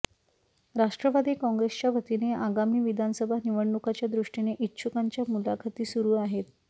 राष्ट्रवादी काँग्रेसच्या वतीने आगामी विधानसभा निवडणुकांच्या दृष्टीने इच्छुकांच्या मुलाखती सुरु आहेत